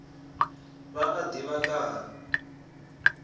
vha a ḓivha nga ha